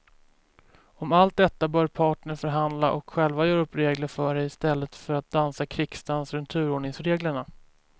Om allt detta bör parterna förhandla och själva göra upp regler för i stället för att dansa krigsdans runt turordningsreglerna.